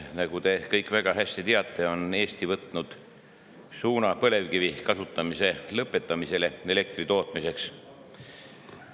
Nagu te kõik väga hästi teate, on Eesti võtnud suuna põlevkivi elektri tootmiseks kasutamise lõpetamisele.